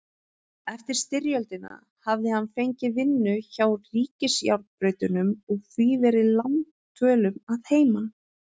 Eftir styrjöldina hafði hann fengið vinnu hjá ríkisjárnbrautunum og því verið langdvölum að heiman.